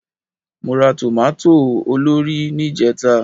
Mo ra tòmátò olórìí ní ìjẹta